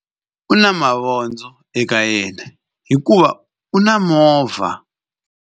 U na mavondzo eka yena hikuva u na movha.